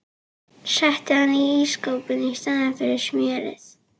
Setti hann inn í ísskáp í staðinn fyrir smjörið.